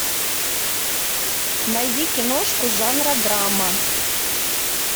найди киношку жанра драма